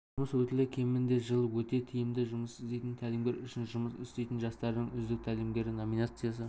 жұмыс өтілі кемінде жыл өте тиімді жұмыс істейтін тәлімгер үшін жұмыс істейтін жастардың үздік тәлімгері номинациясы